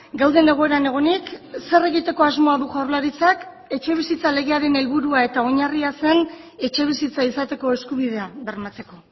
gauden egoeran egonik zer egiteko asmoa du jaurlaritzak etxebizitza legearen helburua eta oinarria zen etxebizitza izateko eskubidea bermatzeko